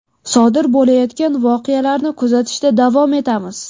Sodir bo‘layotgan voqealarni kuzatishda davom etamiz.